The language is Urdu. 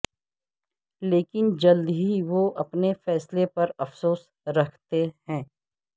لیکن جلد ہی وہ اپنے فیصلے پر افسوس رکھتے ہیں